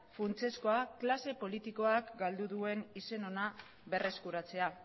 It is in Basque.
funtsezkoa klase politikoak galdu duen izen ona berreskuratzea